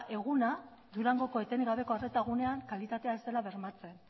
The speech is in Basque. eguna durangoko etengabeko arreta gunean kalitatea ez dela bermatzen